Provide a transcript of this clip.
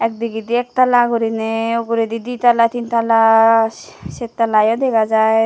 digide ektala guriney uguredi ditalla tintalla se settala yo dega jai.